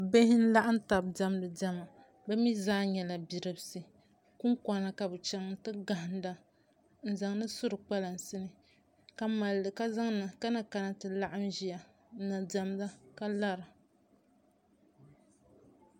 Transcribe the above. bihi n-laɣim taba diɛmdi diɛma bɛ mi zaa nyɛla bidibisi kunkɔna ka bɛ chaŋ nti gahinda n-zaŋdi surikpalansi ni ka na kana nti laɣim ʒiya n-na diɛmda ka lara